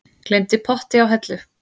Gleymdi potti á hellu